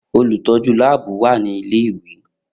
Olutọju laabu wa ni ile-iwe